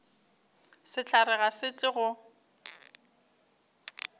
sehlare ga se tle go